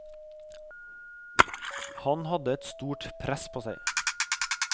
Han hadde et stort press på seg.